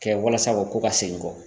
Kɛ walasa o ka ko ka segin kɔ